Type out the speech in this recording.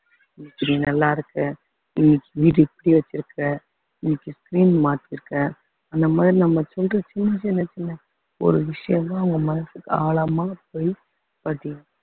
இப்படி நல்லா இருக்க வீடு இப்படி வைச்சிருக்க இன்னைக்கு screen மாத்தியிருக்க அந்த மாதிரி நம்ம சொல்ற சின்ன சின்ன சின்ன ஒரு விஷயம்தான் அவங்க மனசுக்கு ஆழமா போயி பதியும்